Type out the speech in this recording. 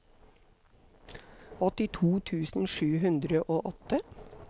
åttito tusen sju hundre og åtte